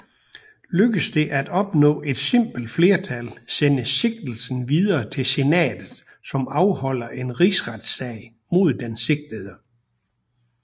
Lykkedes det at opnå et simpelt flertal sendes sigtelsen videre til Senatet som afholder en rigsretssag mod den sigtede